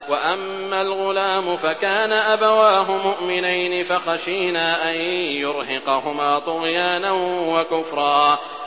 وَأَمَّا الْغُلَامُ فَكَانَ أَبَوَاهُ مُؤْمِنَيْنِ فَخَشِينَا أَن يُرْهِقَهُمَا طُغْيَانًا وَكُفْرًا